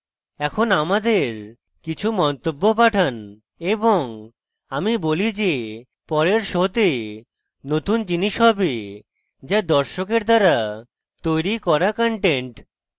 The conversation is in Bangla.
এখন আমাদের কিছু মন্তব্য পাঠান এবং আমি বলি যে পরের শোতে নতুন জিনিস হবে যা দর্শকের দ্বারা তৈরী করা content